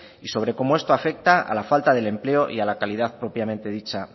y sobre cómo esto afecta a la falta del empleo y a la calidad propiamente dicha